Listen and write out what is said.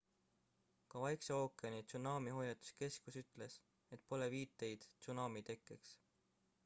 ka vaikse ookeani tsunamihoiatuskeskus ütles et pole viiteid tsunami tekkeks